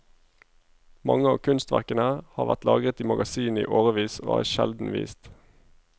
Mange av kunstverkene har vært lagret i magasinene i årevis og er sjelden vist.